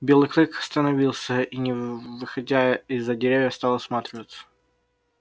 белый клык становился и не выходя из-за деревьев стал осматриваться